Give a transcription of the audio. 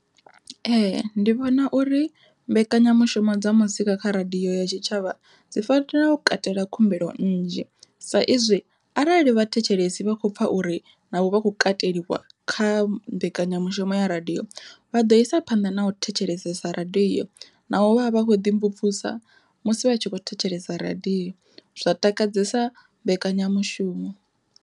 Ee ndi vhona uri mbekanyamushumo dza muzika kha radiyo ya tshitshavha dzi fanela u katela khumbelo nnzhi, sa izwi arali vhathetshelesi vha khou pfha uri na vho vha khou kateliwa kha mbekanyamushumo ya radiyo vha ḓo isa phanḓa na u thetshelesesa radiyo na u vha vha vha khou ḓi mvumvusa musi vha tshi kho thetshelesa radiyo, zwa takadzesa mbekanyamushumo.